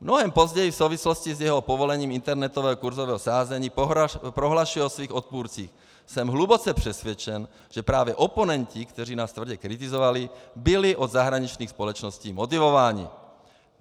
Mnohem později v souvislosti s jeho povolením internetového kursového sázení prohlašuje o svých odpůrcích: Jsem hluboce přesvědčen, že právě oponenti, kteří nás tvrdě kritizovali, byli od zahraničních společností motivováni.